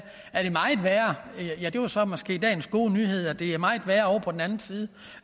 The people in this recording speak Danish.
så måske dagens gode nyhed det er meget værre på den anden side